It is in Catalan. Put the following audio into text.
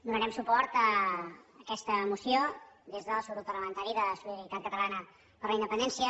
donarem suport a aquesta moció des del subgrup parlamentari de solidaritat catalana per la independència